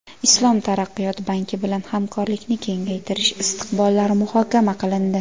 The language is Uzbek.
Islom taraqqiyot banki bilan hamkorlikni kengaytirish istiqbollari muhokama qilindi.